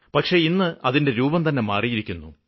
പക്ഷേ ഇന്ന് അതിന്റെ രൂപം തന്നെ മാറിയിരിക്കുന്നു